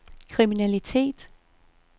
kriminalitet